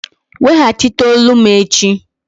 Weghachite olu m echi!